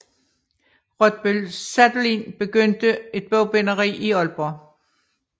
Rottbøl Sadolin begyndte et bogbinderi i Aalborg